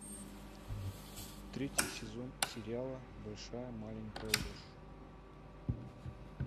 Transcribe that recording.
третий сезон сериала большая маленькая ложь